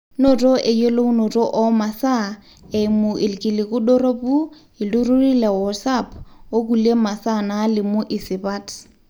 noto eyolounoto oo masaa, eimu irkiliku doropu, iltururi le wosaap okulie masaa naalimu isipat